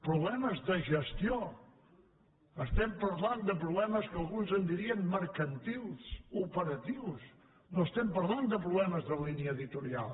problemes de gestió estem parlant de problemes que alguns en dirien mercantils operatius no estem parlant de problemes de línia editorial